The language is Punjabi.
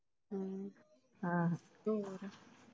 ਹੂ ਹੋਰ,